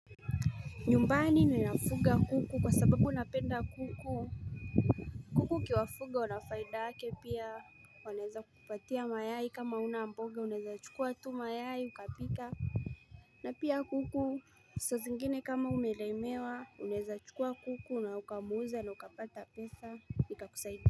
Nyumbani ninafuga kuku kwa sababu napenda kuku kuku ukiwafuga wanafaida yake pia waneeza kupatia mayai kama una mboga unaeza chukua tu mayai ukapika na pia kuku sasa zingine kama umelemewa uneza chukua kuku na ukamuuza na ukapata pesa ikakusaidia.